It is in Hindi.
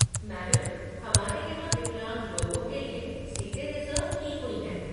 मैडम, हमारे यहाँ विकलांग लोगों के लिए सीटें रिज़र्व की हुई हैं।